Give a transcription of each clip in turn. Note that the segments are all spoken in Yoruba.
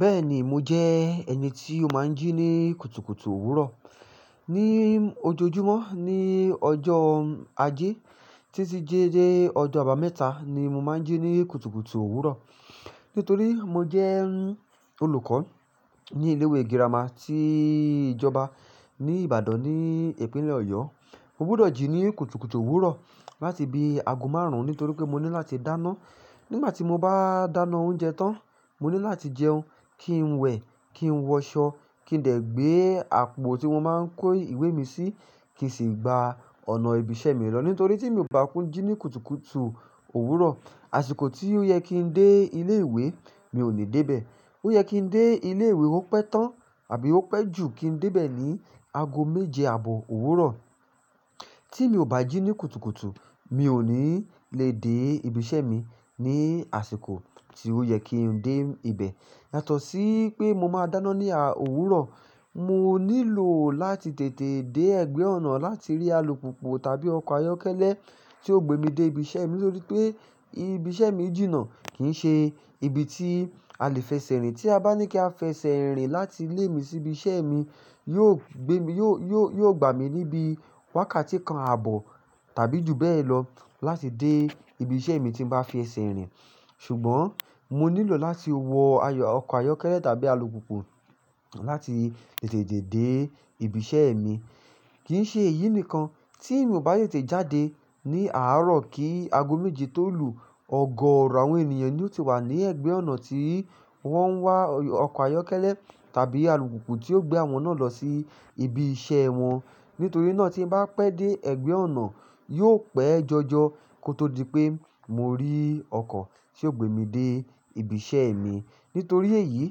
Bẹ́ẹ̀ni, mo jẹ́ ẹni tí ó máa ń jí ní kùtùkùtù òwúrọ̀. Ni ojoojúmọ́, ní ọjọ́ Ajé tí ti jẹ́ je ọjọ́ àbámẹ́ta ni mo máa ń jí ní kùtùkùtù òwúrọ̀. Nítorí mo jẹ́ olùkọ́ ní ilé ìwé girama tí ìjọba ní Ìbàdàn ní ìpínlẹ̀ Ọ̀yọ́. Mo gbúdọ̀ jí ní kùtùkùtù òwúrọ̀ láti bi ago márùn-ún nítorí pé mo ní láti dáná. Nígbà tí mo bá dáná oúnjẹ tán, mo ní láti jẹun, kí n wẹ, kí n wọṣọ, kí n dẹ̀ gbé àpò tí mo máa ń kó ìwé mi sí, kí sì gba ọ̀nà ibi iṣẹ́ mi lọ. Nítorí tí mi ò bá kú jí ní kùtùkùtù òwúrọ̀, àsìkò tí ó yẹ kí n dé ilé ìwé, mi ò ní dé bẹ̀. Ó yẹ kí n dé ilé ìwé, ó pẹ́ tán àbí ó pẹ́ jù kí n dé bẹ̀ ní ago méje àbọ̀ òwúrọ̀. Tí mi ò bá jí ní kùtùkùtù, mi ò ní le dé ibi iṣẹ́ mi ní àsìkò tí ó yẹ kí n dé ibẹ̀. Yàtọ̀ sí pé mo máa dáná ní a, owurọ̀. Mo nílò láti tètè dé ẹgbẹ́ ọ̀nà láti rí alùpùpù tàbí ọkọ̀ ayọ́kẹ́lẹ́ tí ó gbe mi dé ibi iṣẹ́ mi. Nítorí pé ibi iṣẹ́ mi jìnnà kì ń ṣe ibi tí a lè fẹsẹ̀ rìn. Tí a bá ní kí a fẹsẹ̀ rìn láti ilé mi sí ibi iṣẹ́ mi, yóò gbe mi, yóò, yóò, yóò gbà mí níbi wákàtí kan àbọ̀ tàbí jù bẹ́ẹ̀ lọ láti dé ibi iṣẹ́ mi tí n bá fi ẹsẹ̀ rìn. Ṣùgbọ́n mo nílò láti wọ ayọ̀, ọkọ̀ ayọ́kẹ́lẹ́ tàbí alùpùpù láti tètè dé ìbí iṣẹ́ mi. Kì ń ṣe èyí nìkan, tí mi ò bá tètè jáde ní àárọ̀ kí ago méje tó lù, ọ̀gọọọrọ̀ àwọn ènìyàn ni ó ti wà ní ẹ̀gbẹ́ ọ̀nà tí wọ́n ń wá ọkọ̀ ayọ́kẹ́lẹ́ tàbí alùpùpù tí ó gbé àwọn náà lọ sí ibi iṣẹ́ wọn. Nítorí náà tí n bá pẹ́ dé ẹ̀gbẹ́ ọ̀nà, yóò pẹ́ jọjọ kó tó di pé mo rí ọkọ̀ tí ó gbe mi dé ibi iṣẹ́ mi. Nítorí èyí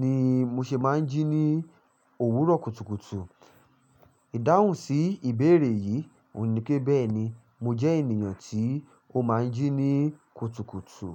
ni mo ṣe máa ń jí ní òwúrọ̀ kùtùkùtù. Ìdáhùn sí ìbéèrè yìí òhun ní pé, bẹ́ẹ̀ni, mo jẹ́ ènìyàn tí ó máa ń jí ní kùtùkùtù.